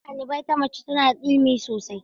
Shugaban ɗalibai ta mace tana da ilimi sosai.